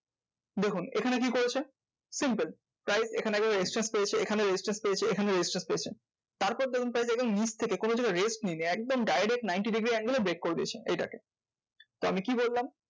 দেখুন এখানে কি করছে? simple price এখানে resistance পেয়েছে এখানে resistance পেয়েছে এখানে resistance পেয়েছে। তারপর দেখুন price একদম নিচ থেকে কোনো জায়গায় rest নেয়নি একদম direct ninety degree angle এ break করে দিয়েছে এইটাকে। তো আমি কি বললাম?